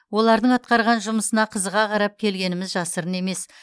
олардың атқарған жұмысына қызыға қарап келгеніміз жасырын емес